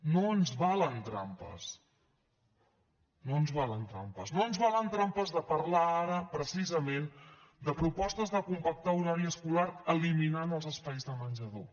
no ens valen trampes no ens valen trampes no ens valen trampes de parlar ara precisament de propostes de compactar horari escolar eliminant els espais de menjador